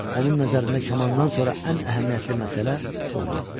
Onun nəzərində kamandan sonra ən əhəmiyyətli məsələ puldur.